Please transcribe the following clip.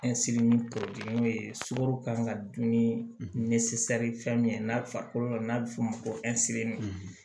ye sukaro kan ka dun ni fɛn min ye n'a farikolo la n'a bɛ f'o ma ko